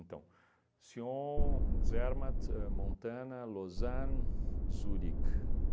Então, Sion, Zermatt, ahn Montana, Lausanne, Zurich.